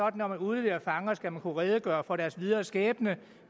at når man udleverer fanger skal man kunne redegøre for deres videre skæbne